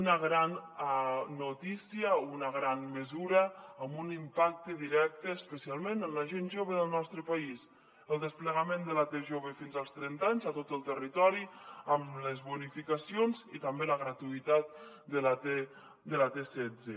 una gran notícia una gran mesura amb un impacte directe especialment en la gent jove del nostre país el desplegament de la t jove fins als trenta anys a tot el territori amb les bonificacions i també la gratuïtat de t setze